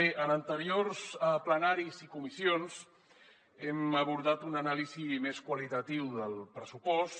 bé en anteriors plenaris i comissions hem abordat una anàlisi més qualitativa del pressupost